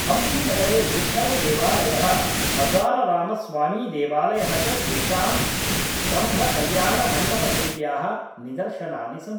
हम्पीनगरे विट्ठळदेवालयः हज़ारारामस्वामीदेवालयः च तेषां स्तम्भकल्याणमण्डपशैल्याः निदर्शनानि सन्ति